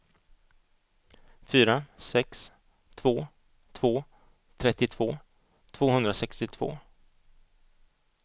fyra sex två två trettiotvå tvåhundrasextiotvå